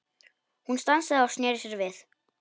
Hún stansaði og sneri sér við.